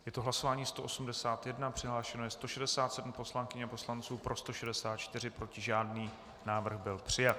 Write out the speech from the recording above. Je to hlasování 181, přihlášeno je 167 poslankyň a poslanců, pro 164, proti žádný, návrh byl přijat.